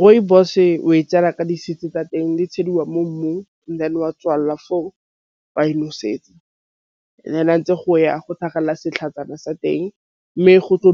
Rooibos-e o e ka di-seeds tsa teng di tšhediwa mo mmung wa tswalela wa e nosetsa ntse go ya go tlhagelela setlhatsana sa teng mme go tlo